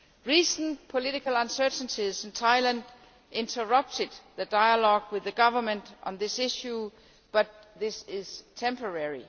Recent political uncertainties in Thailand interrupted the dialogue with the Government on this issue, but that is temporary.